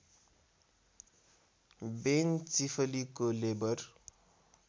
बेन चिफलीको लेबर